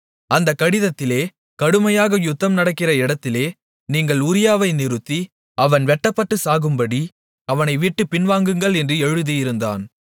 அந்தக் கடிதத்திலே கடுமையாக யுத்தம் நடக்கிற இடத்திலே நீங்கள் உரியாவை நிறுத்தி அவன் வெட்டப்பட்டு சாகும்படி அவனைவிட்டுப் பின்வாங்குங்கள் என்று எழுதியிருந்தான்